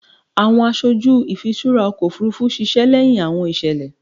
Awọn aṣoju ifiṣura ọkọ ofurufu ṣiṣẹ lẹhin awọn iṣẹlẹ